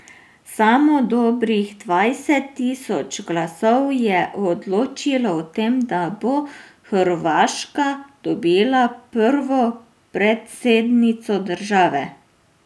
Samo dobrih dvajset tisoč glasov je odločilo o tem, da bo Hrvaška dobila prvo predsednico države.